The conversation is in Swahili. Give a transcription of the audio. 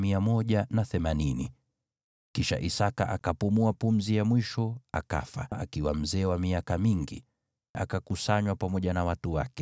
Kisha Isaki akapumua pumzi yake ya mwisho akafa, akakusanywa pamoja na watu wake akiwa mzee wa miaka mingi. Nao wanawe Esau na Yakobo wakamzika.